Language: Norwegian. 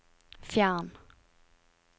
fjern